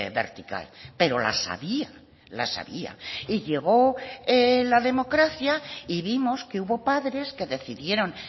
vertical pero las había las había y llegó la democracia y vimos que hubo padres que decidieron